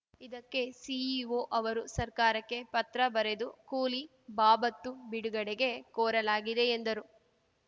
ಇದಕ್ಕೆ ಸಿಇಒ ಅವರು ಸರ್ಕಾರಕ್ಕೆ ಪತ್ರ ಬರೆದು ಕೂಲಿ ಬಾಬತ್ತು ಬಿಡುಗಡೆಗೆ ಕೋರಲಾಗಿದೆ ಎಂದರು